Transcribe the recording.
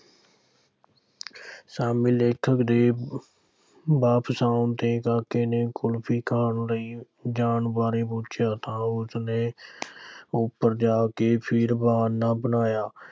ਸ਼ਾਮੀਂ ਲੇਖਕ ਦੇ ਵਾਪਸ ਆਉਣ ਤੇ ਕਾਕੇ ਨੇ ਕੁਲਫ਼ੀ ਖਾਣ ਲਈ ਜਾਣ ਬਾਰੇ ਪੁੱਛਿਆ ਤਾਂ ਉਸ ਨੇ ਉੱਪਰ ਜਾ ਕੇ ਫਿਰ ਬਹਾਨਾ ਬਣਾਇਆ